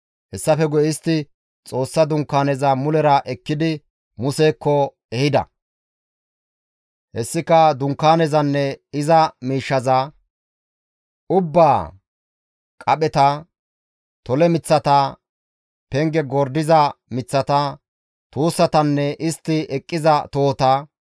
Hessafe guye istti Xoossa Dunkaaneza mulera ekkidi Musekko ehida; hessika dunkaanezanne iza miishshaza ubbaa, qapheta, tole miththata, penge gordiza miththata, tuussatanne istti eqqiza tohota,